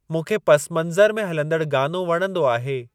मूंखे पसमंज़रु में हलंदड़ु गानो वणंदो आहे।